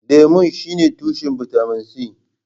Lemu shine tushen bitamin C.